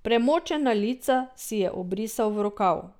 Premočena lica si je obrisal v rokav.